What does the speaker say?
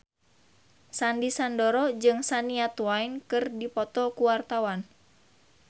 Sandy Sandoro jeung Shania Twain keur dipoto ku wartawan